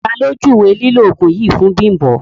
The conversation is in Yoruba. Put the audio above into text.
Tà lo júwé lílọ̀ oogun yìí fún Bimbo?